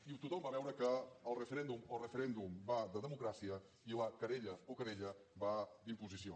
i tothom va veure que el referèndum o referèndum va de democràcia i la querella o querella va d’imposició